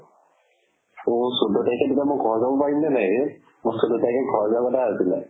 অ চৈধ্য় তাৰিখৰ দিনা মই ঘৰত যাব পাৰিম নে নাই ৰে? এটাত ঘৰ লোৱা পাতা আছিলে।